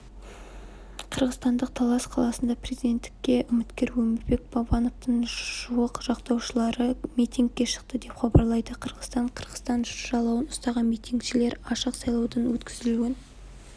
қырғызстандық талас қаласында президенттікке үміткер өмірбек бабановтың жуық жақтаушылары митингке шықты деп хабарлайды қырғызстан қырғызстан жалауын ұстаған митингішілер ашық сайлаудың өткізілуін